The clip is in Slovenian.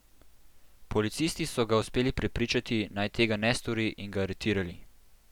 Policisti so ga uspeli prepričati, naj tega ne stori in ga aretirali.